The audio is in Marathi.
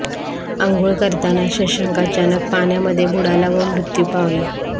आंघोळ करताना शशांक अचानक पाण्यामध्ये बुडाला व मृत्यू पावला